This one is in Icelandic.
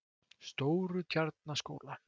Stórutjarnaskóla